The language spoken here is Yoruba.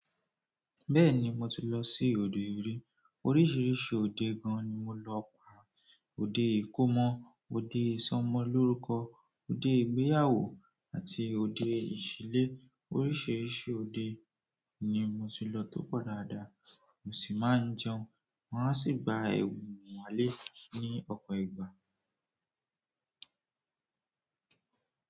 Bẹ́ẹ̀ni, mo ti lọ sí òde orí. Oríṣiríṣi òde gan-an ni mo lọ pa. Òde ìkómọ, òde ìsọmọlórúkọ, òde ìgbéyàwó àti òde ìṣílé. Oríṣiríṣi òde ni mo ti lọ tó pọ̀ dáadáa, mo sì máa ń jẹun. Wọn a sì gba ẹ̀bùn wálé ní ọpọ̀ ìgbà.